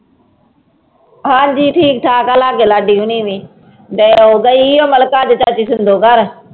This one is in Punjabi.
ਹਾਂਜੀ ਠੀਕ ਠਾਕ ਆ ਲਾਗੇ ਲਾਡੀ ਹੋਣੀ ਵੀ, ਗ ਗਈ ਉਹ ਮਲਿਕਾ ਚਾਚੀ ਸਿੰਦੋ ਘਰ।